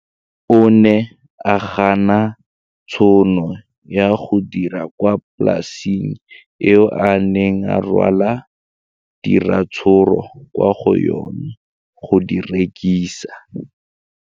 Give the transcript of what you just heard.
O ne a gana tšhono ya go dira kwa polaseng eo a neng rwala diratsuru kwa go yona go di rekisa.